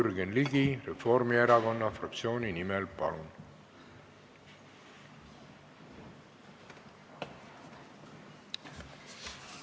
Jürgen Ligi Reformierakonna fraktsiooni nimel, palun!